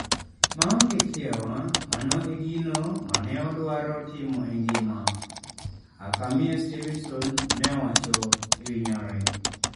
""Maongee kiawa, mano e gino mane odwaro timo e ngima,"" Hakamie Stevenson ne owacho ewi nyare.